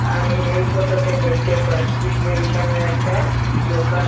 আমি এই ফটোটে দেকটে পাচ্ছি যে এইখানে একটা ডোকান।